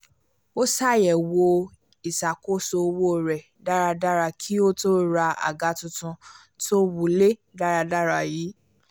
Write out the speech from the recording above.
ó ṣàyẹ̀wò ìṣàkóso owó rẹ dáadáa kí ó tó ra àga tuntun tó wulẹ̀ dáradára yìí